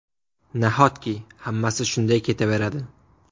Nahotki, hammasi shunday ketaveradi?!